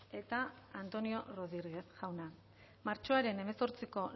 eta antonio rodríguez jauna martxoaren hemezortziko